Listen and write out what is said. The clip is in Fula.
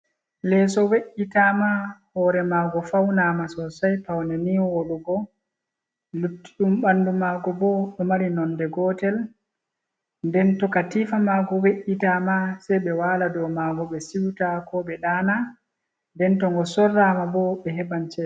Leeso we’’itaama hoore maago fawnaama sosay. Pawne nii woɗugo, luttiɗum ɓanndu maago bo, ɗo mari nonde gootel .Nden to katiifa maago we’’itaama sey ɓe waala dow maago ɓe siwta ko ɓe ɗaana .Nden to ngo sorraama bo ɓe heɓan ceede.